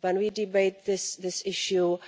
When we debate this issue